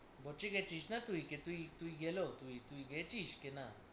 বচে গেছিস না তুই কে তুই তুই গেলেও তুই তুই গেছিস কে না?